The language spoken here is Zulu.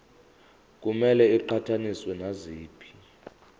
kumele iqhathaniswe naziphi